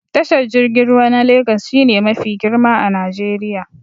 Tashar jirgin ruwa na Legas shi ne mafi girma a Najeriya